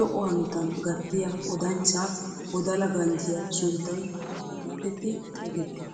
lo"o hanotan gattiyaa odanchchaa wodala ganjjiyaa sunttay oona getetti xeegettii?